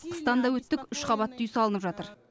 қыстан да өттік үш қабатты үй салынып жатыр